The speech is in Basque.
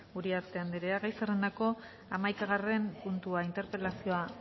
uriarte anderea gai zerrendako hamaikagarren puntua interpelazioa